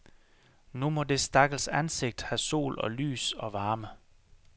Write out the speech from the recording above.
Nu må det stakkels ansigt have sol og lys og varme.